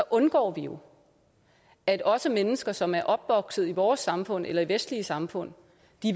undgår vi jo at også mennesker som er opvokset i vores samfund eller i vestlige samfund